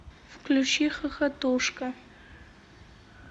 включи хохотушка